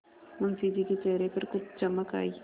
मुंशी जी के चेहरे पर कुछ चमक आई